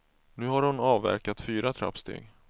Nu har hon avverkat fyra trappsteg.